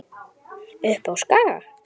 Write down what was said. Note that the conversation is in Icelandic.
Upp á Skaga?